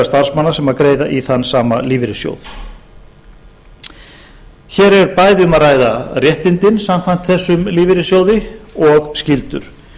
starfsmanna sem greiða í þann sama lífeyrissjóð hér er bæði um að ræða réttindin samkvæmt þessum lífeyrissjóði og skyldur